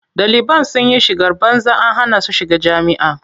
Ɗaliban sun yi shigar banza an hana su shiga jami'a.